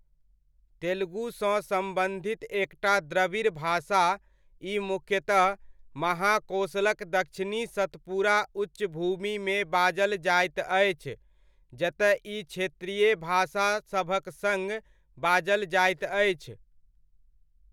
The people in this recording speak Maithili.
तेलुगुसँ सम्बन्धित एकटा द्रविड़ भाषा, ई मुख्यतः महाकोशलक दक्षिणी सतपुरा उच्चभूमिमे बाजल जाइत अछि, जतय ई क्षेत्रीय भाषासभक सङ्ग बाजल जाइत अछि।